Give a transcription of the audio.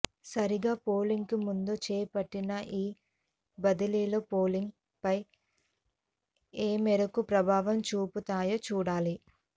సరిగ్గా పోలింగ్ కు ముందు చేపట్టిన ఈ బదిలీలు పోలింగ్ పై ఏమేరకు ప్రభావం చూపుతాయో చూడాలి